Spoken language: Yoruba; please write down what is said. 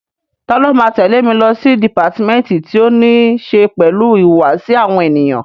Ta ló máa tẹ̀lé mi lọ sí dìpátímẹ́ǹtì tí ó ní ṣe pẹ̀lú ìhùwàsí àwọn ènìyàn?